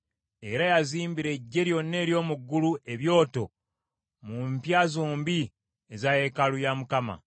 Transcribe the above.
Era yazimbira eggye lyonna ery’omu ggulu ebyoto mu mpya zombi eza yeekaalu ya Mukama .